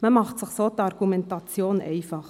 Man macht sich so die Argumentation einfach.